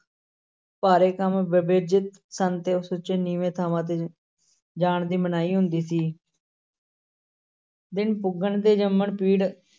ਭਾਰੇ ਕੰਮ ਵਿਵਰਜਿਤ ਸਨ ਤੇ ਨੀਵੇਂ ਥਾਂਵਾਂ ਤੇ ਜਾਣ ਦੀ ਮਨਾਹੀ ਹੁੰਦੀ ਸੀ ਦਿਨ ਪੁੱਗਣ ਤੇ ਜੰਮਣ-ਪੀੜ